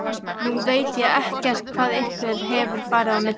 Nú veit ég ekkert hvað ykkur hefur farið á milli?